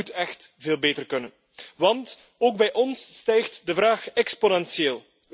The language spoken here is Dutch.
Dat moet echt veel beter kunnen want ook bij ons stijgt de vraag exponentieel.